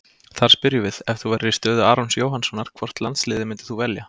Þar spyrjum við: Ef þú værir í stöðu Arons Jóhannssonar, hvort landsliðið myndir þú velja?